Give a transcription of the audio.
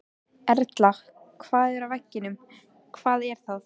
Erla: Hvað er að veginum, hvað er að?